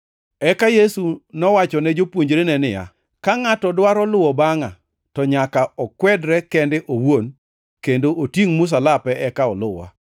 Eka Yesu nowachone jopuonjrene niya, “Ka ngʼato dwaro luwo bangʼa to nyaka okwedre kende owuon kendo otingʼ msalape eka oluwa.